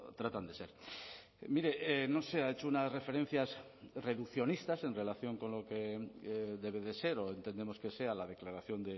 tratan de ser mire no sé ha hecho unas referencias reduccionistas en relación con lo que debe de ser o entendemos que sea la declaración